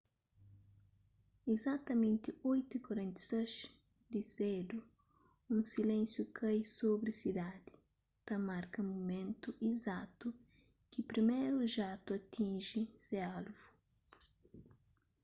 izatamenti 8:46 di sedu un silénsiu kai sobri sidadi ta marka mumentu izatu ki priméru jatu atinji se alvu